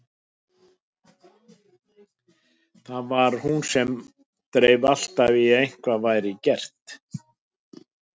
Það var hún sem dreif alltaf í að eitthvað væri gert.